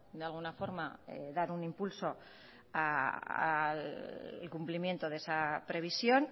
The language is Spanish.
de alguna forma dar impulso al cumplimiento de esa previsión